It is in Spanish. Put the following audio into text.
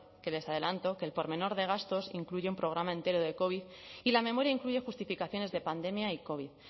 que les adelanto que el pormenor de gastos incluye un programa entero de covid y la memoria incluye justificaciones de pandemia y covid